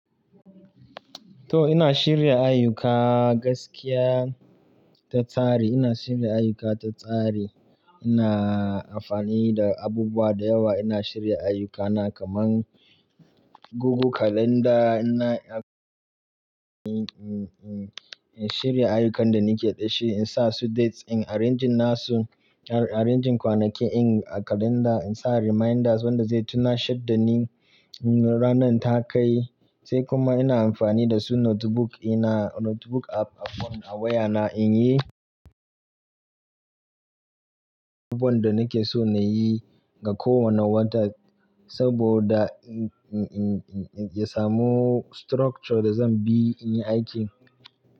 To ina shirya ayyuka gaskiya ta tsari, ina shirya ayyuka ta tsari. Ina amfani da abubuwa da yawa, ina shirya ayyukana kaman Google Calendar ina in shirya ayyukan da nake da shi, in sa su dates, in arrange nasu, arrange kwanaki ɗin a calendar, in sa reminders wanda zai tunashadda ni ranar ta kai. Sai kuma ina amfani da su notebook ɗina, notebook app a phone, a wayana in yi abubuwan da nake so na yi ga kowane wata saboda in, in, in, in, in samu structure da zan bi in yi aiki.